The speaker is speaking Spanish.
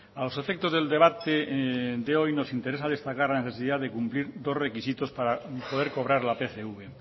a los efectos del debate de hoy nos interesa destacar la necesidad de cumplir dos requisitos para poder cobrar la pcv